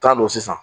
Taa don sisan